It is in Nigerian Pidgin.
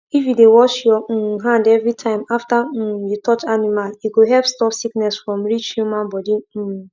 if you dey wash your um hand every time after um you touch animal e go help stop sickness from reach human body um